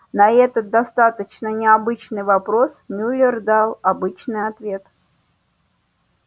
на этот достаточно не обычный вопрос мюллер дал обычный ответ